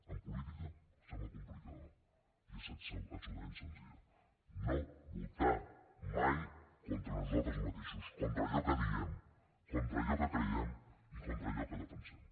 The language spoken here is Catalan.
en política sembla complicada i és absolutament senzilla no votar mai contra nosaltres mateixos contra allò que diem contra allò que creiem i contra allò que defensem